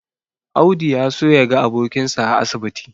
Audi ya so yaga abokinsa a asibiti.